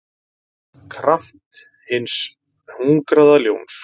kraft hins hungraða ljóns.